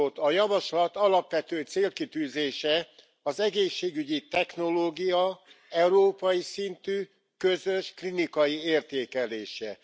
A javaslat alapvető célkitűzése az egészségügyi technológia európai szintű, közös klinikai értékelése.